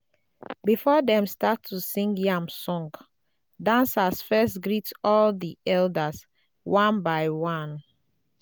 before dem start to sing yam song dancers first greet all the elders one by one.